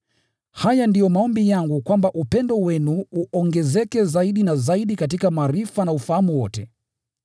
Haya ndiyo maombi yangu: kwamba upendo wenu uongezeke zaidi na zaidi katika maarifa na ufahamu wote,